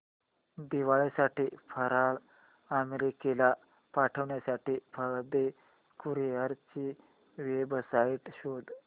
दिवाळी फराळ अमेरिकेला पाठविण्यासाठी पाळंदे कुरिअर ची वेबसाइट शोध